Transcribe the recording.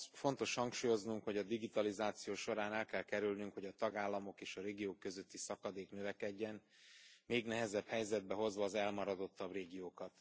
Fontos hangsúlyoznunk, hogy a digitalizáció során el kell kerülnünk, hogy a tagállamok és a régiók közötti szakadék növekedjen, még nehezebb helyzetbe hozva az elmaradottabb régiókat.